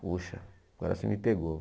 Poxa, agora você me pegou.